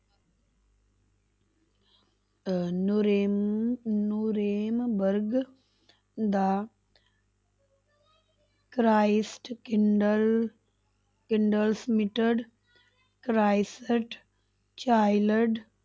ਅਹ ਨੁਰੇਨ ਨੂਰੇਨ ਵਰਗ ਦਾ ਕਰਾਈਸਡ ਚਾਈਲਡ